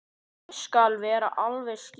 Ég skal vera alveg skýr.